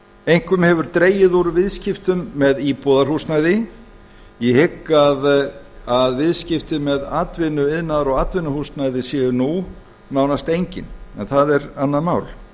einkum hefur dregið úr viðskiptum með íbúðarhúsnæði ég hygg að viðskipti með atvinnu iðnaðar og atvinnuhúsnæði séu nú nánast engin en það er annað mál